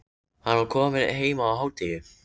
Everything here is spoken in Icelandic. Hann var kominn heim á hádegi.